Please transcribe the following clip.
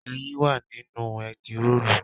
Ẹyin wà nínú ẹ́gí roòlù